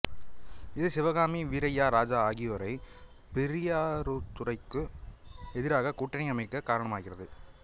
இது சிவகாமி வீரய்யா ராஜா ஆகியோரை பெரியாரதுரைக்கு எதிராக கூட்டணி அமைக்க காரணமாகிறது